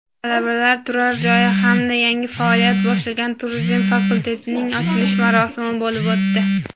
talabalar turar-joyi hamda yangi faoliyat boshlagan "Turizm" fakultetining ochilish marosimi bo‘lib o‘tdi.